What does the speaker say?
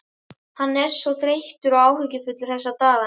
Hann er svo þreyttur og áhyggjufullur þessa dagana.